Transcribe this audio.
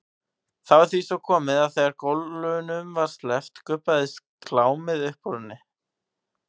Því var svo komið að þegar gólunum sleppti gubbaðist klámið upp úr henni.